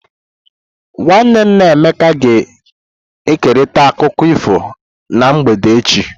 Nwanne nna Emeka ga-ekerịta akụkọ ifo na mgbede echi.